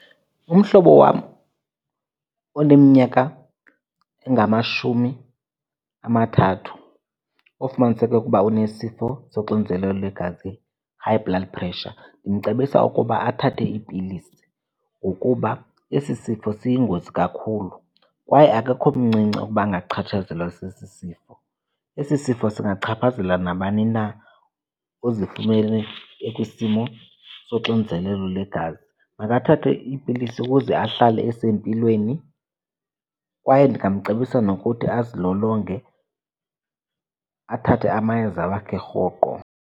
Umhlobo wam oneminyaka engamashumi amathathu ufumaniseke ukuba unesifo soxinzelelo lwegazi, high blood pressure, ndimcebisa ukuba athathe iipilisi ngokuba esi sifo siyingozi kakhulu kwaye akekho mncinci ukuba angachatshazelwa sesi sifo. Esi sifo singachaphazela nabani na, uzifumene ekwisimo soxinzelelo legazi. Makathathe iipilisi ukuze ahlale esempilweni kwaye ndingamcebisa nokuthi azilolonge, athathe amayeza wakhe rhoqo.